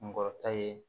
Kunkɔrɔta ye